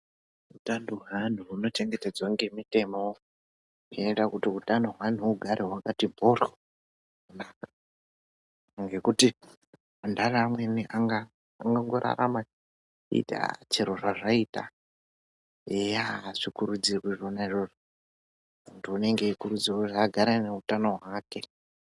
Utano hwaantu hunochengetedzwa ngemitemo, inoita kuti hutano hweantu hugare hwakati mhoryo kunaka, ngekuti antani amweni angangorarama eiti chero zvazvaita, eya azvikurudzirwi zvona izvozvo. Muntu anenge eikurudzirwa kuti agare ane utano hwake.